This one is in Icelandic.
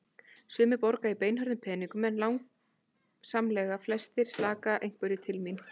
Sumir borga í beinhörðum peningum en langsamlega flestir slaka einhverju til mín.